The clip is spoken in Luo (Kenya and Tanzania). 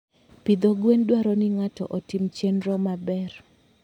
Pidho gwen dwaro ni ng'ato otim chenro maber.